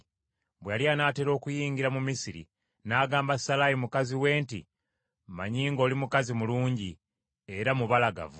Bwe yali anaatera okuyingira mu Misiri, n’agamba Salaayi mukazi we nti, “Mmanyi ng’oli mukazi mulungi era mubalagavu,